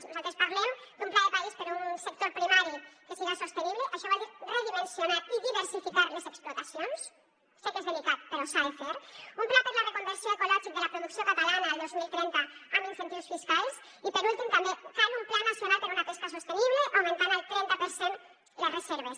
nosaltres parlem d’un pla de país per un sector primari que siga sostenible això vol dir redimensionar i diversificar les explotacions sé que és delicat però s’ha de fer un pla per a la reconversió ecològic de la producció catalana al dos mil trenta amb incentius fiscals i per últim també cal un pla nacional per una pesca sostenible augmentant el trenta per cent les reserves